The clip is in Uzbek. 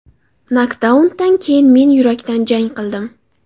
Nokdaundan keyin men yurakdan jang qildim.